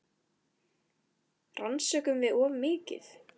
Rannsökum við of mikið?